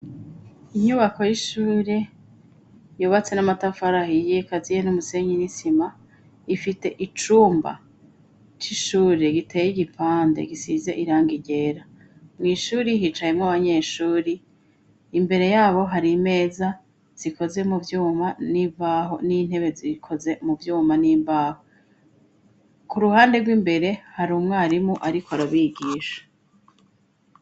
Inyubako y'ishuri yubatse n'amatafarahi iyikaziye n'umusenyi nisima ifite icumba c'ishure giteye igipande gisize iranga ryera mu ishuri hicayemo abanyeshuri imbere yabo hari imeza zikoze mu byuma n'imbaho n'intebe zikoze mu vyuma n'imbaho ku ruhande rw'imbere hari umwarimu ariko arabigisha.